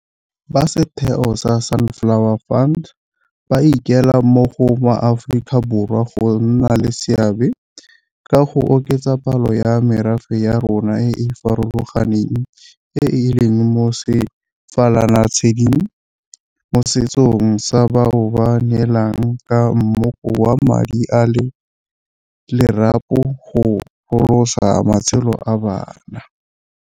Ba setheo sa Sunflower Fund ba ikuela mo go maAforika Borwa go nna le seabe ka go oketsa palo ya merafe ya rona e e farologaneng e e leng mo sefalanatshedi mosetsong sa bao ba neelanang ka mmoko wa madi a lerapo go pholosa matshelo a bana.